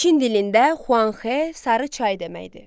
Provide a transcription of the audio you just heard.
Çin dilində Xuanxe sarı çay deməkdir.